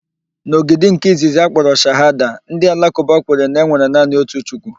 N'ógìdì nke izizi nke akpọrọ Shahada, ndị Alakụba kwere na enwere naanị otu Chukwu.